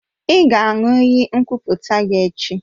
Ị ga-aṅụ iyi nkwuputa gị echi!